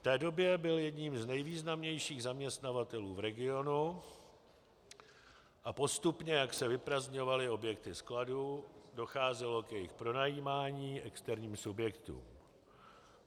V té době byl jedním z nejvýznamnějších zaměstnavatelů v regionu a postupně, jak se vyprazdňovaly objekty skladů, docházelo k jejich pronajímání externím subjektům.